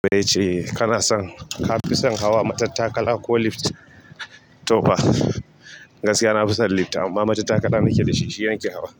Bece kana son ka fi son hawa matattakala ko lift? To fa gaskiya na fi son lift amma matattakala nake da shi shi nake hawa.